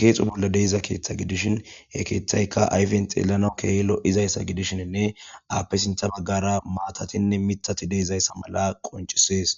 keexo bolla de'iza keeththa gidishin,he keeththaykka ayfen xeelana keehi lo'izayssa gidishenne aape sintha baggara maatatinne mitati de'izayssa mala qoncisees.